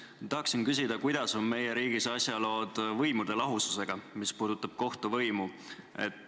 Ma tahaksin küsida, kuidas on meie riigis asjalood võimude lahususega, just kohtuvõimu seisukohalt.